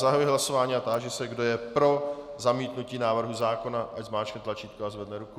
Zahajuji hlasování a táži se, kdo je pro zamítnutí návrhu zákona, ať zmáčkne tlačítko a zvedne ruku.